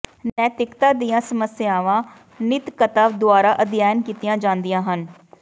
ਨੈਤਿਕਤਾ ਦੀਆਂ ਸਮੱਸਿਆਵਾਂ ਨੈਿਤਕਤਾ ਦੁਆਰਾ ਅਧਿਐਨ ਕੀਤੀਆਂ ਜਾਂਦੀਆਂ ਹਨ